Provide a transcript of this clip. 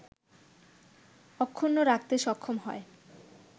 অক্ষুণ্ন রাখতে সক্ষম হয়